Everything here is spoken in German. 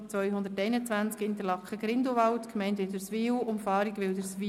221 Interlaken – Grindelwald, Gemeinde Wilderswil; Umfahrung Wilderswil.